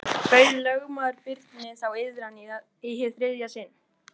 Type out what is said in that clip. Það er nú allt og sumt, en þó nokkuð.